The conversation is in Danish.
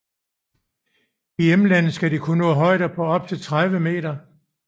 I hjemlandet skal de kunne nå højder på op til 30 m